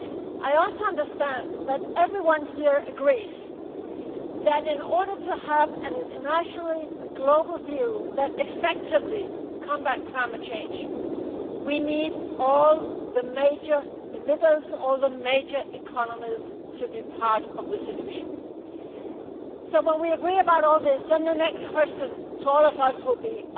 I also understand that everyone here agrees that, in order to have an internationally global deal that effectively combats climate change, we need all the major emitters, all the major economies, to be part of the solution. When we agree about all this, the next question for all of us will be